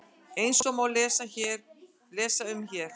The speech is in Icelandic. Eins og má lesa um hér